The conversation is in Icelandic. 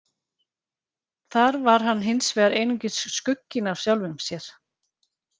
Þar var hann hinsvegar einungis skugginn af sjálfum sér.